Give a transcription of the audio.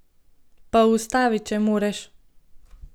Pa ustavi, če moreš!